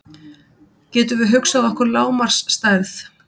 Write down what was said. Getum við hugsað okkur lágmarksstærð?